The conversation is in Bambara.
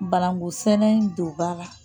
Bananku sɛnɛ in don ba la